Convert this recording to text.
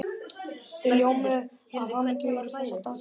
Þau ljómuðu af hamingju yfir þessum dásamlega tengdasyni.